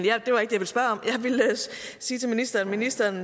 sige til ministeren ministeren